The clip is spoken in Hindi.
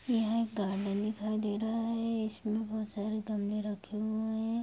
यह एक गार्डन दिखाई दे रहा है। इसमें बोहोत बहु सारे गमले रखे हुए हैं।